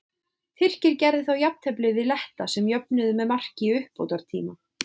Tyrkir gerðu þá jafntefli við Letta sem jöfnuðu með marki í uppbótartíma.